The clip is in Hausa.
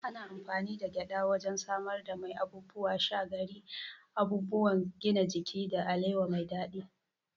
Ana amfani da gyada wajen samar da mai, abubuwan sha, gari, abubuwan gina jiki, da alewa mai daɗi.